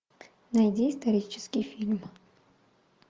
найди исторический фильм